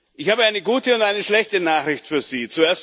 Ich habe eine gute und eine schlechte Nachricht für Sie.